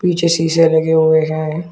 पीछे शीशे लगे हुए हैं।